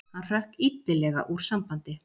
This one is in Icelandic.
Hann hrökk illilega úr sambandi.